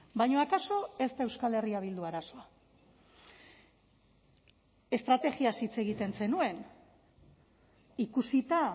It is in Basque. baina akaso ez da euskal herria bildu arazoa estrategiaz hitz egiten zenuen ikusita